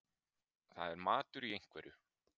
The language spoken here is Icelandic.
Það er matur í einhverju